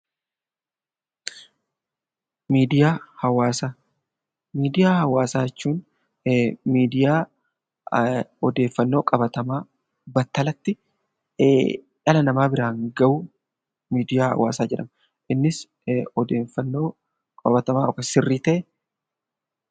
Miidiyaa Hawaasaa Miidiyaa Hawaasaa jechuun miidiyaa odeeffannoo qabatamaa battalatti dhala namaa biraan gahuu 'Miidiyaa Hawaasaa' jedhama. Innis ideeffannoo qabatamaa yookaan sirrii ta'e..